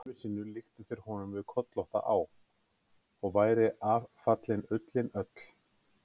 Öðru sinni líktu þeir honum við kollótta á, og væri af fallin ullin öll.